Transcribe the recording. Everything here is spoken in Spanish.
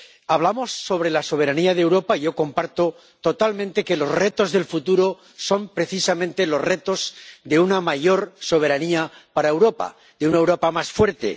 Hablamos sobre la soberanía de Europa y yo comparto totalmente que los retos del futuro son precisamente los retos de una mayor soberanía para Europa, de una Europa más fuerte.